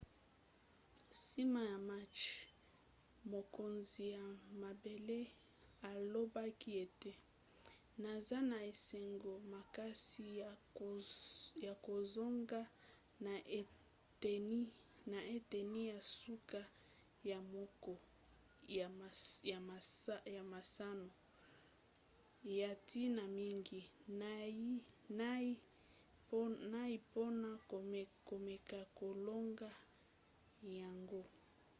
nsima ya match mokonzi ya mabele alobaki ete naza na esengo makasi ya kozonga na eteni ya suka ya moko ya masano ya ntina mingi. nayei mpona komeka kolonga yango.